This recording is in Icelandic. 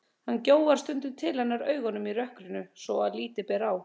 Hann gjóar stundum til hennar augunum í rökkrinu svo að lítið ber á.